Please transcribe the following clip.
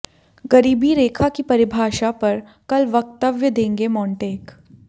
गरीबी रेखा की परिभाषा पर कल वक्तव्य देंगे मोंटेक